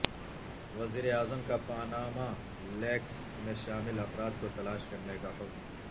وزیراعظم کا Panama leaks میں شامل افراد کو تلاش کرنےکاحکم